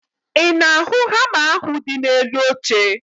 Ị na-ahụ hama ahụ dị n'elu oche?